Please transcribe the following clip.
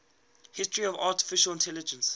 history of artificial intelligence